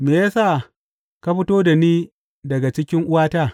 Me ya sa ka fito da ni daga cikin uwata?